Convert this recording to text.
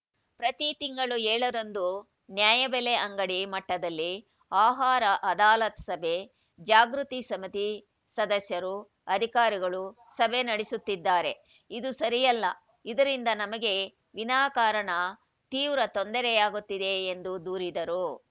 ಪ್ರತಿ ತಿಂಗಳೂ ಏಳರಂದು ನ್ಯಾಯಬೆಲೆ ಅಂಗಡಿ ಮಟ್ಟದಲ್ಲಿ ಆಹಾರ ಅದಾಲತ್‌ ಸಭೆ ಜಾಗೃತಿ ಸಮಿತಿ ಸದಸ್ಯರು ಅಧಿಕಾರಿಗಳು ಸಭೆ ನಡೆಸುತ್ತಿದ್ದಾರೆ ಇದು ಸರಿಯಲ್ಲ ಇದರಿಂದ ನಮಗೆ ವಿನಾಕಾರಣ ತೀವ್ರ ತೊಂದರೆಯಾಗುತ್ತಿದೆ ಎಂದು ದೂರಿದರು